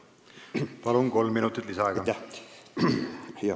Palun lisaaega ka!